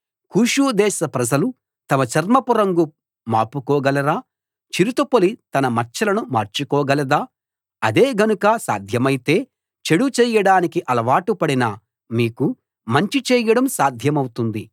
కూషు దేశ ప్రజలు తమ చర్మపు రంగు మాపుకోగలరా చిరుతపులి తన మచ్చలను మార్చుకోగలదా అదే గనుక సాధ్యమైతే చెడు చేయడానికి అలవాటు పడిన మీకు మంచి చేయడం సాధ్యమౌతుంది